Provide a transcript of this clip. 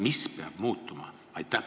Mis peab muutuma?